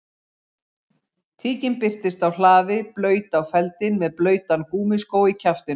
Tíkin birtist á hlaði blaut á feldinn með blautan gúmmískó í kjaftinum